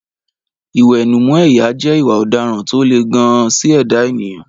Ìwẹ̀nùmọ́ ẹ̀yà jẹ́ ìwà ọ̀daràn tó le gan-an sí ẹ̀dá ènìyàn.